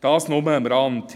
Das nur am Rande.